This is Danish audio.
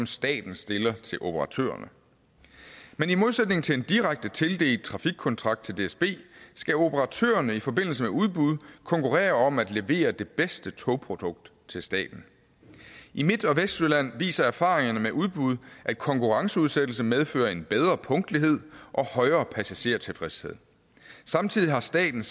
staten stiller til operatørerne men i modsætning til en direkte tildelt trafikkontrakt til dsb skal operatørerne i forbindelse med udbud konkurrere om at levere det bedste togprodukt til staten i midt og vestjylland viser erfaringerne med udbud at konkurenceudsættelse medfører en bedre punktlighed og højere passagertilfredshed samtidig har staten